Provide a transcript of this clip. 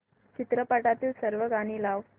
चित्रपटातील सर्व गाणी लाव